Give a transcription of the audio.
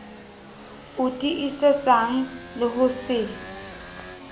o tiisetsang le ho se